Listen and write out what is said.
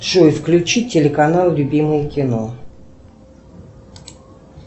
джой включи телеканал любимое кино